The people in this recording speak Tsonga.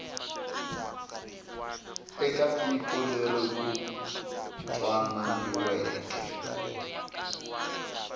eka tiko leri ku twananiweke